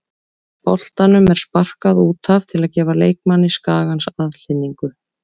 Boltanum er sparkað út af til að gefa leikmanni Skagans aðhlynningu.